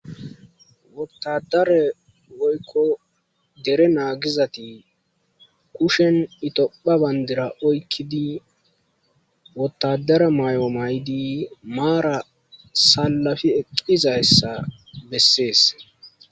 wottadare woykko dere naagizati kushen itopha bandira oykkidi wottadara may7o may7di maara salafi eqqizayssa bessees